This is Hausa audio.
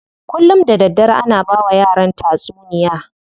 Kullum da daddare ana bawa yaran tatsuniya.